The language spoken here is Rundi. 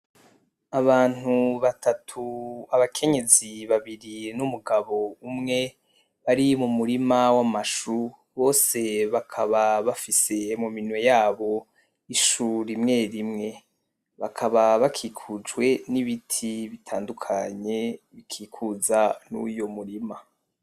Abantu batatu , abakenyezi babiri n’umugabo umwe bari mu murima w’amashu, bose bakaba bafise mu minwe yabo ishu rimwe rimwe. Bakaba bakikujwe n’ibiti bitandukanye bikikuza uyo murima.